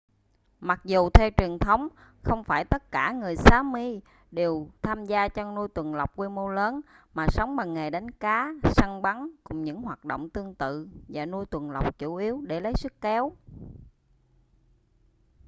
mặc dù theo truyền thống không phải tất cả người sámi đều tham gia chăn nuôi tuần lộc quy mô lớn mà sống bằng nghề đánh cá săn bắn cùng những hoạt động tương tự và nuôi tuần lộc chủ yếu để lấy sức kéo